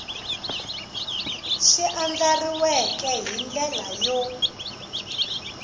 swi andlariweke hi ndlela yo